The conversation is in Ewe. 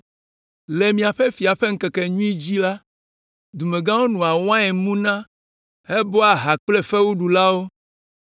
Le miaƒe fia ƒe ŋkekenyui dzi la, dumegãwo noa wain muna hebɔa ha kple fewuɖulawo.